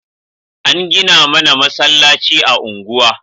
An gina mana masallaci a unguwa